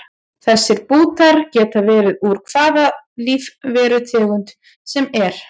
Þessir bútar geta verið úr hvaða lífverutegund sem er.